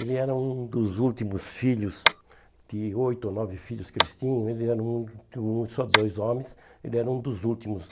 Ele era um dos últimos filhos, de oito ou nove filhos que eles tinham, ele era um de hum só dois homens, ele era um dos últimos.